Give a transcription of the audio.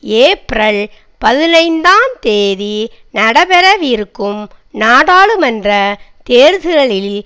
April பதினைந்துந் தேதி நடைபெறவிருக்கும் நாடாளுமன்ற தேர்தல்களில்